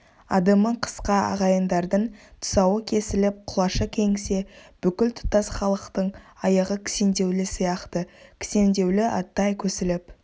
адымы қысқа ағайындардың тұсауы кесіліп құлашы кеңісе бүкіл тұтас халықтың аяғы кісендеулі сияқты кісендеулі аттай көсіліп